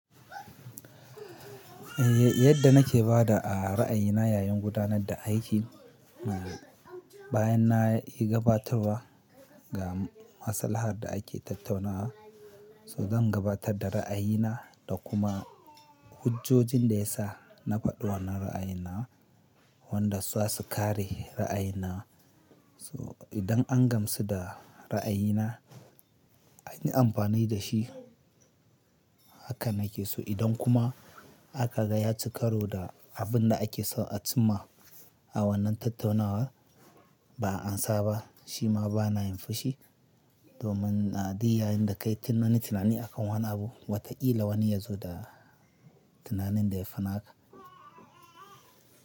Yadda nake bada a ra'ayina yayin gudanar da aikin, bayan na yi gabatarwa ga masalahar da ake tattaunawa, so zan gabatar da ra'ayina da kuma hujojin da ya sa na faɗi wannan ra'ayin nawa wanda zasu kare ra'ayin nawa. So idan an gamsu da ra'ayina, an yi amfani da shi haka nake. So idan kuma aka ga ya ci karo da abin da ake so a cimma a wannan tattaunawa, ba'a amsa ba, shi ma bana yin fushi domin na duk yayinda kai tunanin tunani akan wani abu, wataƙila wani ya zo da tunanin da ya fi na ka.